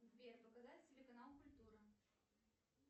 сбер показать телеканал культура